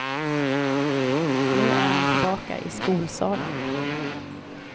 Nu är han tillbaka i skolsalen.